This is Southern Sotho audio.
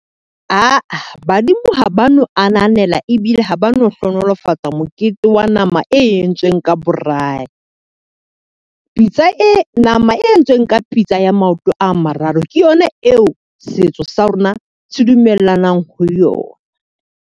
Aa badimo ha ba no ananela ebile ha ba no hlohonolofatsa mokete wa nama e entsweng ka braai. Pitsa e nama e entsweng ka pitsa ya maoto a mararo, ke yona eo setso sa rona se dumellanang ho yona.